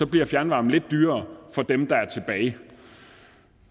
bliver fjernvarmen lidt dyrere for dem der er tilbage